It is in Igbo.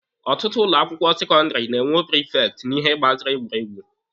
Ọtụtụ ụlọ akwụkwọ sekọndịrị ga-enwe prifekti n'ihe gbasara egwuregwu.